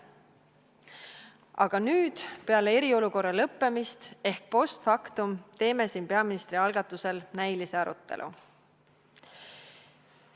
Aga nüüd, peale eriolukorra lõppemist ehk post factum teeme siin peaministri algatusel näilise arutelu.